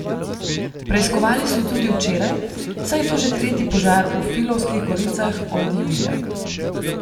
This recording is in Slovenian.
Preiskovali so tudi včeraj, saj je to že tretji požar v Filovskih goricah od julija.